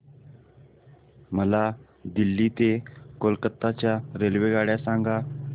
मला दिल्ली ते कोलकता च्या रेल्वेगाड्या सांगा